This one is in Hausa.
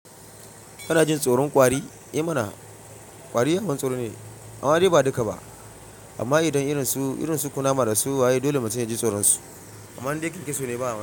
Kana jin tsoron kwari. Eh mana kwari ai abin tsoro ne amma dai ba duka ba amma idan irin su, irin su kunama da su waye dole mu tuna jin tsoron su amma dai ken keso ne ba.